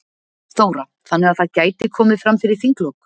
Þóra: Þannig að það gæti komið fram fyrir þinglok?